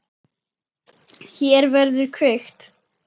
Hér verður kveikt.